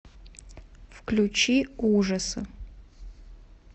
включи ужасы